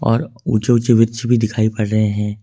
और ऊंचे ऊंचे वृक्ष भी दिखाई पड़ रहे हैं।